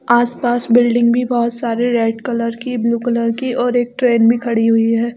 आस-पास बिल्डिंग भी बोहोत सारे रेड कलर की ब्लू कलर कीऔर एक ट्रैन भी खड़ी हुई है।